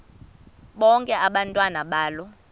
bonke abantwana balo